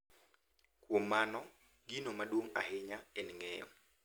Kuom mano, gino maduong’ ahinya en ng’eyo .